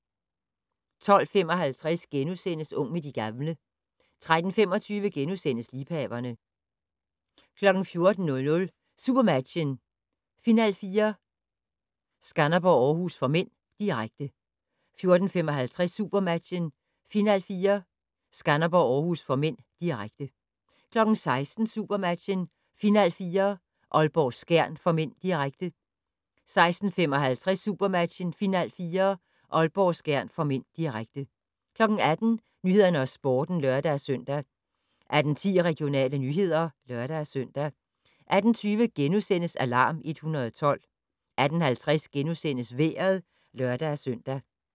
12:55: Ung med de gamle * 13:25: Liebhaverne * 14:00: SuperMatchen: Final4 - Skanderborg-Århus (m), direkte 14:55: SuperMatchen: Final4 - Skanderborg-Århus (m), direkte 16:00: SuperMatchen: Final4 - Aalborg-Skjern (m), direkte 16:55: SuperMatchen: Final4 -Aalborg-Skjern (m), direkte 18:00: Nyhederne og Sporten (lør-søn) 18:10: Regionale nyheder (lør-søn) 18:20: Alarm 112 * 18:50: Vejret (lør-søn)